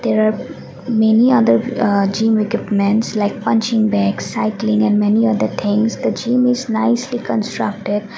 there are many other uh gym equipments like punching bags cycling and many other things the gym is nicely constructed.